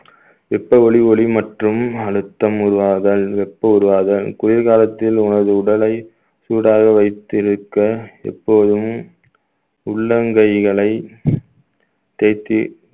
வெப்ப ஒலி ஒளி மற்றும் அழுத்தம் உருவாதல் வெப்ப உருவாதல் குளிர்காலத்தில் உனது உடலை சூடாக வைத்திருக்க எப்போதும் உள்ளங்கைகளை தேய்த்து